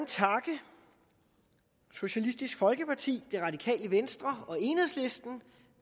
takke socialistisk folkeparti det radikale venstre og enhedslisten